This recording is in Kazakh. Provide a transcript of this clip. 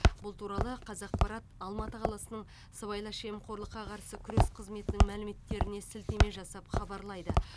бұл туралы қазақпарат алматы қаласының сыбайлас жемқорлыққа қарсы күрес қызметінің мәліметтеріне сілтеме жасап хабарлайды